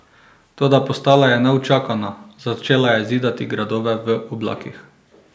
Toda postala je neučakana, začela je zidati gradove v oblakih.